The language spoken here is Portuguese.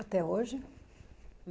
Até hoje?